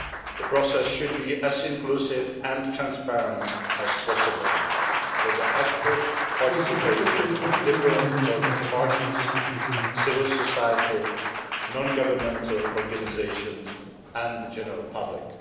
The process should be as inclusive and transparent as possible with the active participation of different political parties, civil society, non governmental organisations and the general public.